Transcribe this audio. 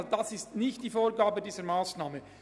Dies ist nicht die Vorgabe dieser Massnahme.